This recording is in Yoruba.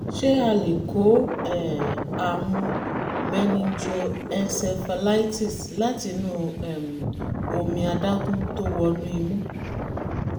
ṣé a lè kó um àrùn meningoencephalitis láti inú um omi adágún tó wọ inú imú?